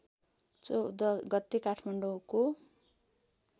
१४ गते काठमाडौँको